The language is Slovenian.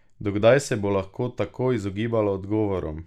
Do kdaj se bo lahko tako izogibala odgovorom?